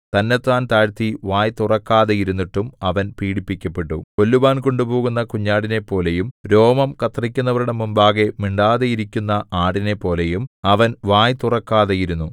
തന്നെത്താൻ താഴ്ത്തി വായ് തുറക്കാതെയിരുന്നിട്ടും അവൻ പീഡിപ്പിക്കപ്പെട്ടു കൊല്ലുവാൻ കൊണ്ടുപോകുന്ന കുഞ്ഞാടിനെപ്പോലെയും രോമം കത്രിക്കുന്നവരുടെ മുമ്പാകെ മിണ്ടാതെയിരിക്കുന്ന ആടിനെപ്പോലെയും അവൻ വായ് തുറക്കാതെ ഇരുന്നു